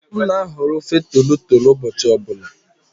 M na-ahọrọ ofe tolotolo ụbọchị ọ bụla.